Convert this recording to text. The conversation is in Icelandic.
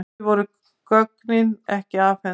Því voru gögnin ekki afhent.